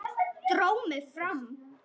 Dró mig fram.